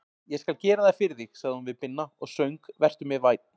Ég skal gera það fyrir þig, sagði hún við Binna og söng Vertu mér vænn.